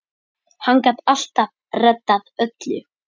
Hann gat alltaf reddað öllu.